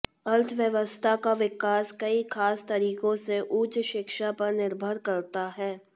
अर्थव्यवस्था का विकास कई खास तरीकों से उच्च शिक्षा पर निर्भर करता है